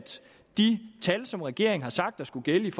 de tal som regeringen har sagt skulle gælde